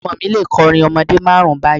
Ọmọ mi lè kọrin ọmọdé márùn-ún báyìí.